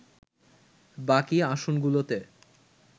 বাকি আসনগুলোতে